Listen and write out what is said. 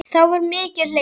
Þá var mikið hlegið.